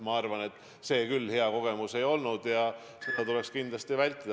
Ma arvan, et see küll hea kogemus ei olnud, seda tuleks kindlasti vältida.